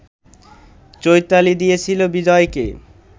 চৈতালি দিয়েছিল বিজয়কে